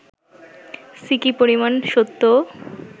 সিকি পরিমাণ সত্যও